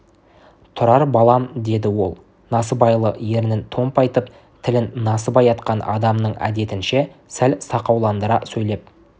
тұрар балам деді ол насыбайлы ерінін томпайтып тілін насыбай атқан адамның әдетінше сәл сақауландыра сөйлеп